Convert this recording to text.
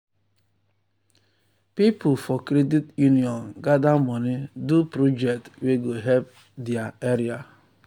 people for credit union gather money do project wey go help their area.